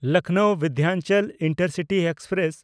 Lucknow Vindhachal intercity express